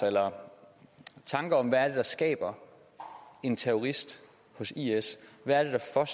eller tanker om hvad der skaber en terrorist hos is hvad